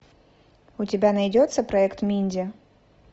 у тебя найдется проект минди